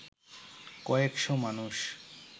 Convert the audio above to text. কয়েকশ মানুষ